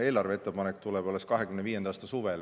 Eelarveettepanek tuleb alles 2025. aasta suvel.